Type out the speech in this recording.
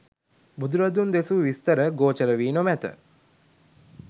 බුදුරදුන් දෙසූ විස්තර ගෝචර වී නොමැත.